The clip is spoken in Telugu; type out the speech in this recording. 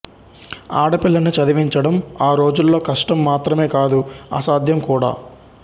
ఆడపిల్లని చదివించడం ఆ రోజుల్లో కష్టం మాత్రమే కాదు అసాధ్యం కూడా